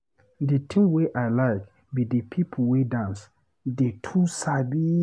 The thing wey I like be the people wey dance, dey too sabi